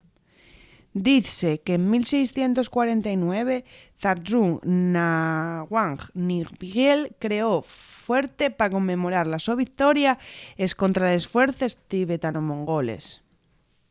dizse qu'en 1649 zhabdrung ngawang namgyel creó'l fuerte pa conmemorar la so victoria escontra les fuerces tibetano-mongoles